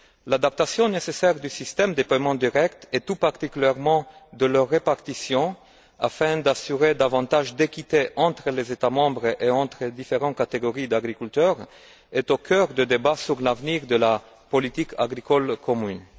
L'adaptation nécessaire du système des paiements directs et tout particulièrement de leur répartition afin d'assurer davantage d'équité entre les États membres et entre les différentes catégories d'agriculteurs est au cœur du débat sur l'avenir de la politique agricole commune.